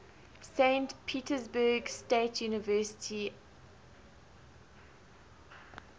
saint petersburg state university alumni